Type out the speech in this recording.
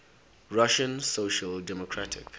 russian social democratic